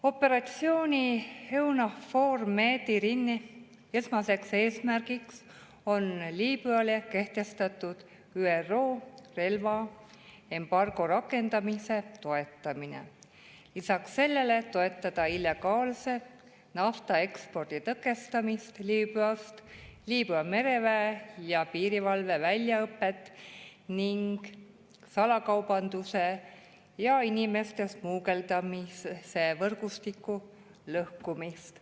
Operatsiooni EUNAVFOR Med/Irini esmaseks eesmärgiks on Liibüale kehtestatud ÜRO relvaembargo rakendamise toetamine, lisaks sellele on eesmärk toetada illegaalse naftaekspordi tõkestamist Liibüast, Liibüa mereväe ja piirivalve väljaõpet ning salakaubanduse ja inimeste smugeldamise võrgustike lõhkumist.